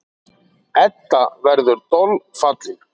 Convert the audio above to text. Edda verður dolfallin.